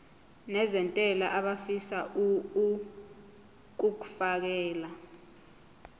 nezentela abafisa uukfakela